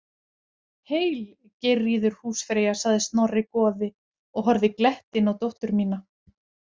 Heil, Geirríður húsfreyja, sagði Snorri goði og horfði glettinn á dóttur mína.